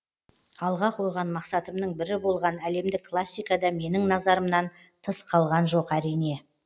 алға қойған мақсатымның бірі болған әлемдік классика да менің назарымнан тыс қалған жоқ әрине